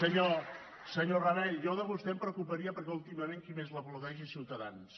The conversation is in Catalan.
senyor rabell jo de vostè em preocuparia perquè últimament qui més l’aplaudeix és ciutadans